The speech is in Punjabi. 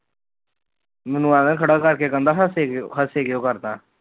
ਮੈਨੂੰ ਅੇਵੇ ਖੜਾ ਕਰਕੇ ਕਹਿੰਦਾ ਹਸੀ ਕਿਉ ਹਸੀ ਕਿਉ ਕਰਦਾ